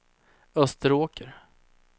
Österåker